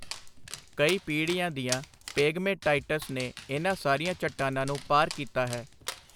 ਕਈ ਪੀੜ੍ਹੀਆਂ ਦੀਆਂ ਪੇਗਮੇਟਾਈਟਸ ਨੇ ਇਨ੍ਹਾਂ ਸਾਰੀਆਂ ਚੱਟਾਨਾਂ ਨੂੰ ਪਾਰ ਕੀਤਾ ਹੈ।